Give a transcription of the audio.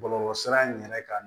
Bɔlɔlɔsira in yɛrɛ kan